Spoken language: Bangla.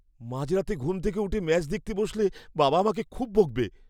মাঝরাতে ঘুম থেকে উঠে ম্যাচ দেখতে বসলে বাবা আমাকে খুব বকবে।